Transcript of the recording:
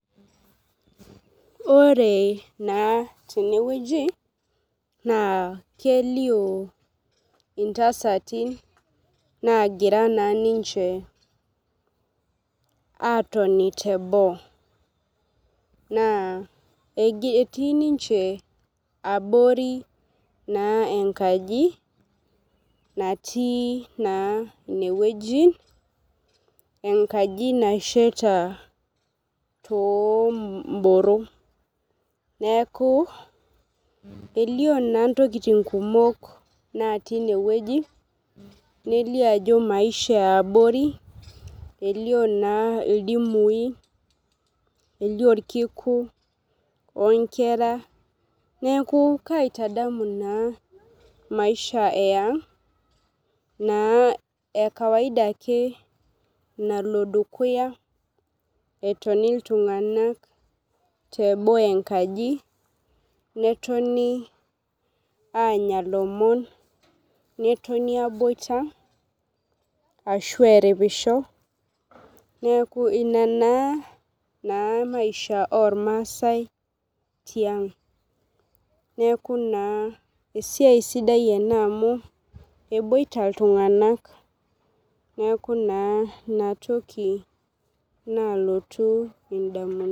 Ore naa teneweji naa kelio intasati nagira naa ninche atoni teboo. Naa etii ninche abori naa enkaji naati naa ineweji. Enkaji nasheta too boro . Neeku elio naa intokitin kumok naati ineweji nelio ajo maisha ee abori elio naa ildumie, orkiiku oo nkera. Neeku kaitadanu naa maisha ee iang' naa ee kawaida ake nalo dukuya etonj iltung'anak teboo enkaji netoni anya ilomon. Netoni aboita ashua eripisho neeku inaa naa maisha ormasae tiang'. Neeku naa esia sidai enaa amu eboita iltung'ana. Neeku naa ina toki nalotu idamunot.